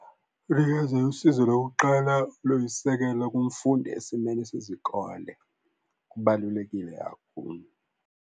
Ukunikeza usizo lokuqala luyisisekelo kumfundi esimeni sezikole, kubalulekile kakhulu.